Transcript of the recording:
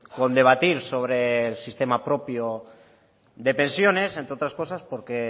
con debatir sobre el sistema propio de pensiones entre otras cosas porque